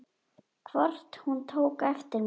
Hvort hún tók eftir mér.